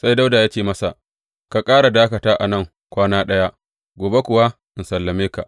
Sai Dawuda ya ce masa, Ka ƙara dakata a nan kwana ɗaya, gobe kuwa in sallame ka.